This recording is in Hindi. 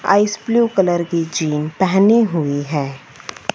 आइस ब्लू कलर की जिन पहनी हुई है।